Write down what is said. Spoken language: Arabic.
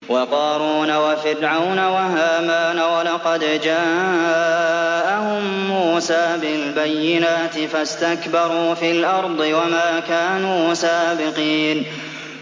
وَقَارُونَ وَفِرْعَوْنَ وَهَامَانَ ۖ وَلَقَدْ جَاءَهُم مُّوسَىٰ بِالْبَيِّنَاتِ فَاسْتَكْبَرُوا فِي الْأَرْضِ وَمَا كَانُوا سَابِقِينَ